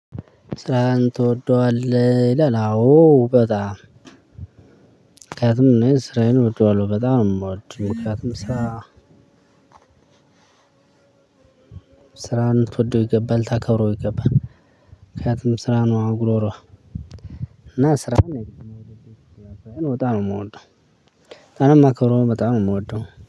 ስራህን ትወደዋለህ ይላል? አዎ በጣም ምክንያቱም ስራዬን እወደዋለሁ በጣም ነው የምወድ ምክንያቱም ስራ ስራን ልትወደው ይገባል ታከብረው ይገባል። ምክንያቱም ስራ ነው አ ጉሮሮህ እና ስራን የምወደው በጣም ነው። የምወደው አለም አክብሮም በጣም ነው የምወደው